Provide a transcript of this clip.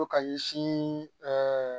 Fo ka ɲɛsin